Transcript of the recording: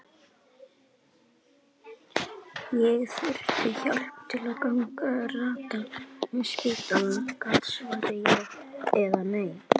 Ég þurfti hjálp til að ganga og rata um spítalann, gat svarað já eða nei.